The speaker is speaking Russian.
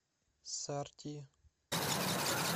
сорти